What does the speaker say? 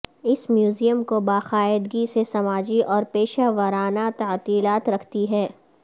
اس museum کو باقاعدگی سے سماجی اور پیشہ ورانہ تعطیلات رکھتی ہے